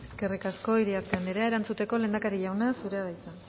eskerrik asko iriarte anderea erantzuteko lehendakari jauna zurea da hitza